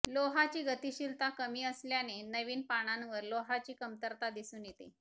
लोहाची गतिशीलता कमी असल्याने नवीन पानांवर लोहाची कमतरता दिसून येते